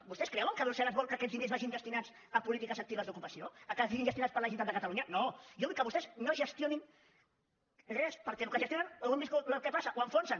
vostès creuen que brussel·les vol que aquests diners vagin destinats a polítiques actives d’ocupació que siguin gestionats per la generalitat de catalunya no jo vull que vostès no gestionin res perquè amb el que gestionen ja hem vist el que passa ho enfonsen